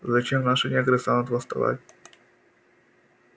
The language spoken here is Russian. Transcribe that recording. зачем наши негры станут восставать